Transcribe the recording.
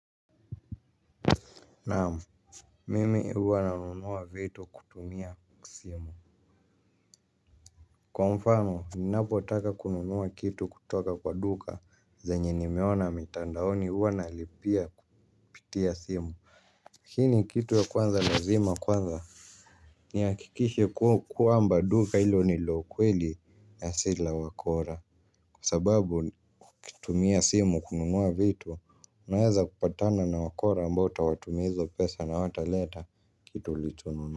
Naam mmi huwa na nunua vitu kutumia simu kwa mfano ninavo taka kununua kiyu kutoka klwa duka zenye nime ona mitandaoni huwa nalipia kupitia simu. Hii ni kitu ya kwanza lazima kwanza. Ni hakikishe kuwa amba duka ilo ni laukweli na sila wakora kwa sababu kutumia simu kununua vitu, unaweza kupatana na wakora ambao utawatumia hizo pesa na hawataleta kitu ulichonua.